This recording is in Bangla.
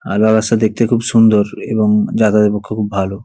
আধা রাস্তা দেখতে খুব সুন্দর এবং যাতায়াতের পক্ষে খুব ভালো ।